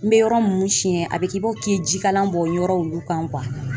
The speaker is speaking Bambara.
N bɛ yɔrɔ minnu siyɛn a bɛ k'i b'a fɔ k'i ye jikalan bɔ yɔrɔ olu kan